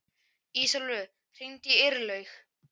Ísólfur, hringdu í Irlaug.